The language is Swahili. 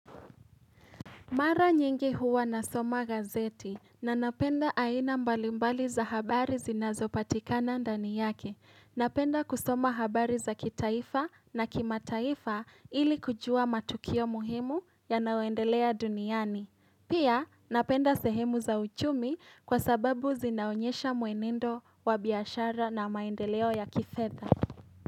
Mara nyingi huwa na soma gazeti na napenda aina mbalimbali za habari zinazopatikana ndani yake. Napenda kusoma habari za kitaifa na kima taifa ili kujua matukio muhimu ya naoendelea duniani. Pia napenda sehemu za uchumi kwa sababu zinaonyesha muenendo wa biashara na maendeleo ya kifedha.